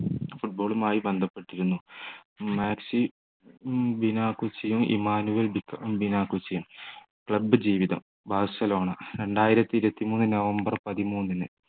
football മായി ബന്ധപ്പെട്ടിരുന്നു club ജീവിതം ബാഴ്സലോണ രണ്ടായിരത്തി ഇരുപത്തിമൂന്ന് നവംബർ പതിമൂന്നിന്